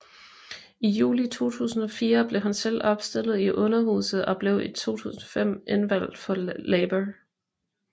I juli 2004 blev han selv opstillet til Underhuset og blev i 2005 indvalgt for Labour